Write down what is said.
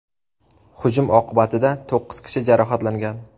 Hujum oqibatida to‘qqiz kishi jarohatlangan.